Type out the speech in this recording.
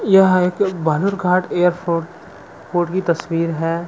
यह एक बहादुरघाट एयरपोर्ट की तस्वीर है।